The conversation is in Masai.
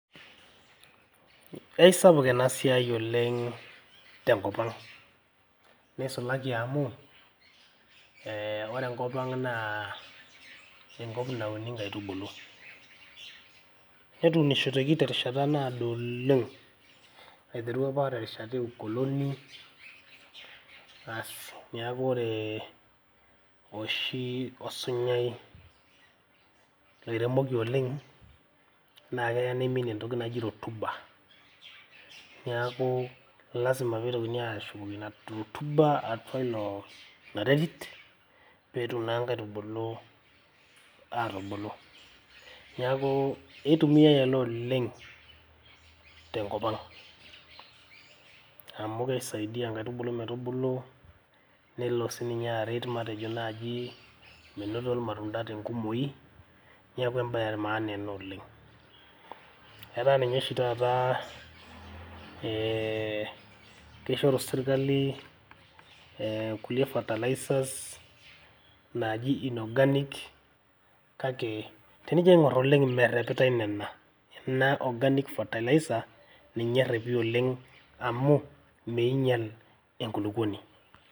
Eisapuk ena siai oleng te nkop ang, neisulaki amu ore enkop naa enkop nauni nkaitubulu. Netuunishoteki terishata naado oleng aiteru apa terishata e ukoloni. Aasi niaku ore oshi osunyai oiremoki oleng naa keya neimin entoki naji rotuba niaku lazima pee eitokini aashukoki ina rotuba atua ilo ina terit pee etum naa nkaitubulu aatubu. Niaku keitumiai ele oleng te nkop ang amu keisaidia nkaitubulu metubulu nelo sii ninye aret matejo naaji menoto ilmatunda tenkumoi niaku em`bae e maana ena oleng. Etaa ninye oshi taata ee kishoru sirkali kulie fertilizers naaji inorganic kake tenijo aing`orr oleng merrepitae nena, organic fertilizer ninye eerepi oleng amu meinyial enkulukuoni.